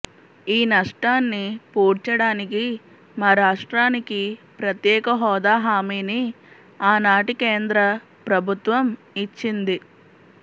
ఈ నష్టాన్ని పూడ్చడానికి మా రాష్ట్రానికి ప్రత్యేక హోదా హామీని ఆనాటి కేంద్ర ప్రభుత్వం ఇచ్చింది